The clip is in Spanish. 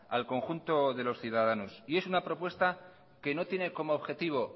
al conjunto de los ciudadanos y es una propuesta que no tiene como objetivo